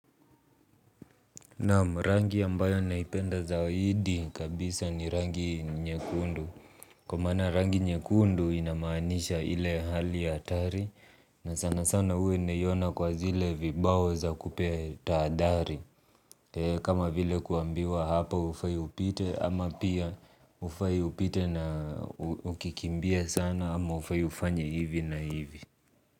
Naam rangi ambayo naipenda zaidi kabisa ni rangi nyekundu. Kwa maana rangi nyekundu ina maanisha ile hali ya hatari. Na sana sana huwa naiona kwa zile vibao za kupea taadhari. Kama vile kuambiwa hapa hufai upite ama pia hufai upite na ukikimbia sana ama hufai ufanye hivi na hivi.